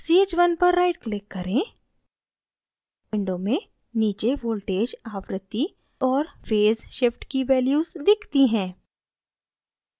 ch1 पर right click करें window में नीचे voltage आवृत्ति और फेज़ shift की values दिखती हैं